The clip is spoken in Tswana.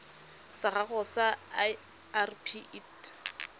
sa gago sa irp it